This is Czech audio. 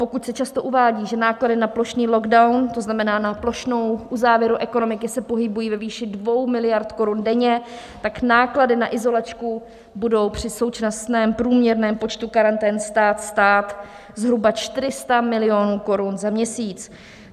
Pokud se často uvádí, že náklady na plošný lockdown, to znamená na plošnou uzávěru ekonomiky se pohybují ve výši 2 miliard korun denně, tak náklady na izolačku budou při současném průměrném počtu karantén stát zhruba 400 milionů korun za měsíc.